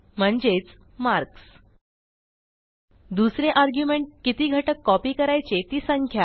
म्हणजेच मार्क्स दुसरे आर्ग्युमेंट किती घटक कॉपी करायचे ती संख्या